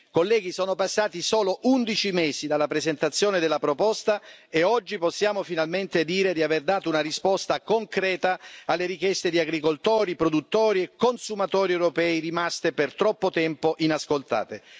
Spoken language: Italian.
Colleghi, sono passati solo 11 mesi dalla presentazione della proposta e oggi possiamo finalmente dire di aver dato una risposta concreta alle richieste di agricoltori, produttori e consumatori europei rimaste per troppo tempo inascoltate.